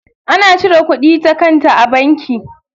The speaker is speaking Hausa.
Ana cire kudi ta kanta a banki.